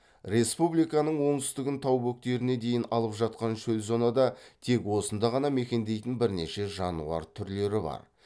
республиканың оңтүстігін тау бөктеріне дейін алып жатқан шөл зонада тек осында ғана мекендейтін бірнеше жануар түрлері бар